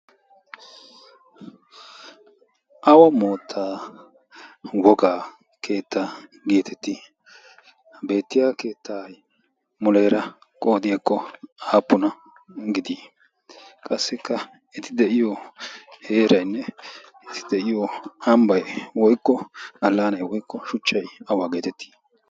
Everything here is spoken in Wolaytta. awa mootta wogaa keettaa geetettii beettiya keettaa muleera qoodiyaakko aappuna gidii qassikka eti de'iyo heerainne eti de'iyo hambbai woikko allaanay woykko shuchchai awaa geetettii?